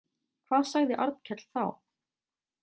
Hvað sagði Arnkell þá?